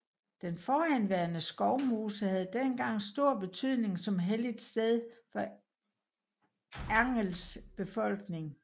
Den forhenværende skovmose havde dengang stor betydning som helligt sted for Angels befolkning